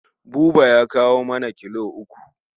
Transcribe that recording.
Buba ya kawo nama kilo uku.